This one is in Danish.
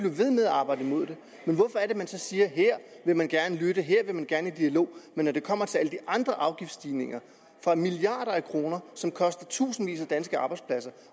arbejde imod det hvorfor er man siger at her vil man gerne lytte og her vil man gerne i dialog men når det kommer til alle de andre afgiftsstigninger for milliarder af kroner som koster tusindvis af danske arbejdspladser